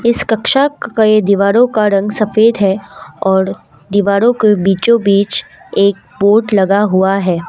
इस कक्षा के दीवारों का रंग सफेद है और दीवारों के बीचों बीच एक बोर्ड लगा हुआ है।